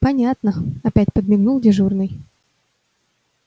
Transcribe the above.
понятно опять подмигнул дежурный